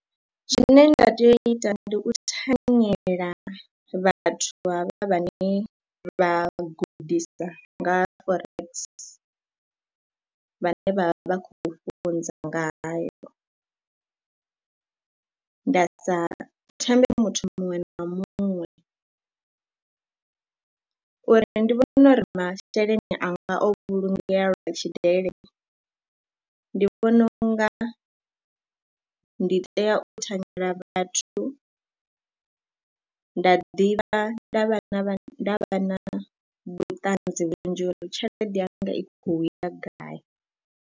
Zwine nda tea u ita ndi u thanyela vhathu havha vhane vha gudisa nga ha Forex vhane vha vha vha khou funza ngaho. Nda sa thembe muthu muṅwe na muṅwe, uri nṋe ndi vhone uri masheleni anga o vhulungea lwa tshidele, ndi vhona u nga ndi tea u thanyela vhathu, nda ḓivha nda vha na vhuṱanzi vhunzhi uri tshelede yanga i khou ya gai.